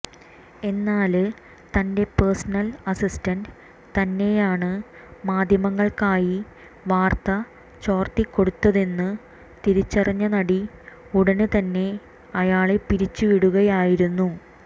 എന്നാല് തന്റെ personal assistant തന്നെയാണ് മാധ്യമങ്ങൾക്കായി വാർത്ത ചോർത്തിക്കൊടുക്കുന്നതെന്ന് തിരിച്ചറിഞ്ഞ നടി ഉടന് തന്നെ അയാളെ പിരിച്ചു വിടുകയായിരുന്നു